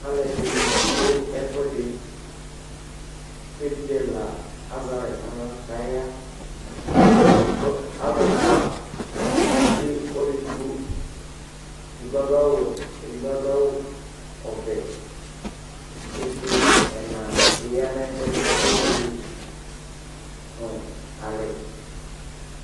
aloɛdini do ɛfuedi k'evidze ɛla azɛ alɛ n'ala k'aya kò alo ɛfua ekple ɔlo edigbo edigbo ado awu wɛ k'edigbo ado awu ɔvɛ k'evidze ɛna bi ya n'ɛfuedi k'ake buele no alɛ